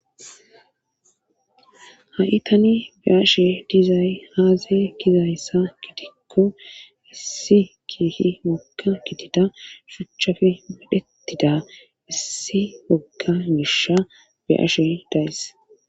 ha i tani be ashe dizay haaze gizayssa gitikko issi kiihi wogga gitida shuchchafe medhettida issi wogga gisha be ashe dayis